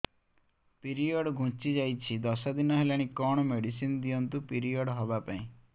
period ଘୁଞ୍ଚି ଯାଇଛି ଦଶ ଦିନ ହେଲାଣି କଅଣ ମେଡିସିନ ଦିଅନ୍ତୁ ପିରିଅଡ଼ ହଵା ପାଈଁ